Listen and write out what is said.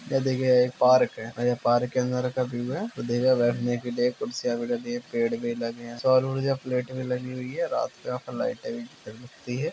यह देखिये ये एक पार्क है और यह पार्क के अन्दर का व्यू है उधर एक बैठने के लिए कुर्सियाँ भी लगी हैं पेड़ भी लगे हैं सौर ऊर्जा प्लेट भी लगी हुई हैं रात को यहा पे लाइटे भी जलती हैं।